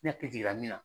Ne hakili jiginna min na